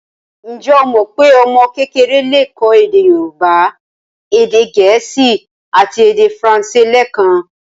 Ǹjẹ́ o mọ pé ọmọ kékeré le kọ́ èdè Yorùbá, èdè gẹ̀ẹ́sì àti èdè faransé lẹẹkan?